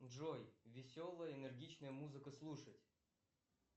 джой веселая энергичная музыка слушать